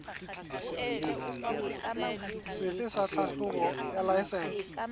sefe sa tlhahlobo ya laesense